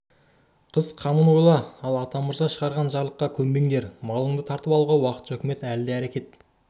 қыс қамын ойла ал атамырза шығарған жарлыққа көнбеңдер малыңды тартып алуға уақытша үкімет әлі де әрекет